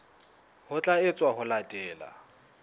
ho tla etswa ho latela